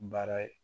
Baara ye